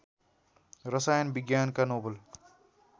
रसायन विज्ञानका नोबेल